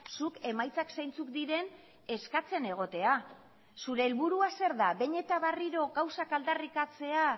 zuk emaitzak zeintzuk diren eskatzen egotea zure helburua zein da behin eta berriro gauzak aldarrikatzea